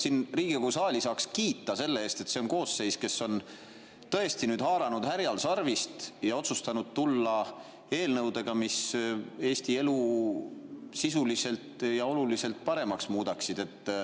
Minu arust saaks Riigikogu saali kiita selle eest, et see on koosseis, kes on tõesti haaranud härjal sarvist ja otsustanud tulla eelnõudega, mis Eesti elu sisuliselt ja oluliselt paremaks muudavad.